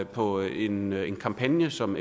på en kampagne som